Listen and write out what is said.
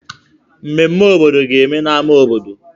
Mmeme obodo ga-eme na ámá obodo.